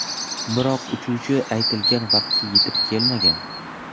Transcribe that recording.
Biroq uchuvchi aytilgan vaqtga yetib kelmagan.